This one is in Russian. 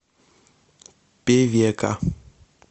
певека